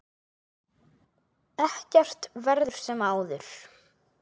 Ekkert verður sem áður.